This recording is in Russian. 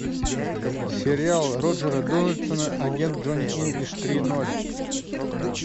сериал роджера дональдсона агент джонни инглиш три ноль